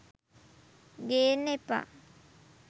ගේන්න එපා.